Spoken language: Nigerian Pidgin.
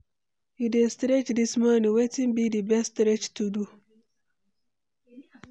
You dey stretch dis morning, wetin be di best stretch to do?